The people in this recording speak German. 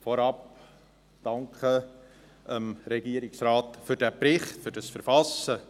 Vorab danke ich dem Regierungsrat für das Verfassen des Berichts.